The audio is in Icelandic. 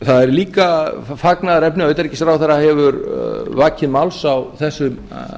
það er líka fagnaðarefni að utanríkisráðherra hefur vakið máls á þessum